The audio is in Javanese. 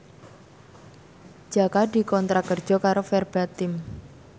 Jaka dikontrak kerja karo Verbatim